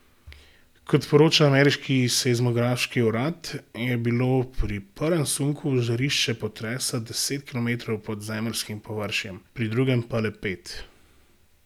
Kot poroča ameriški seizmološki urad, je bilo pri prvem sunku žarišče potresa deset kilometrov pod zemeljskim površjem, pri drugem pa le pet.